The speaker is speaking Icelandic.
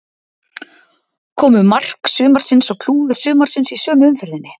Komu mark sumarsins og klúður sumarsins í sömu umferðinni?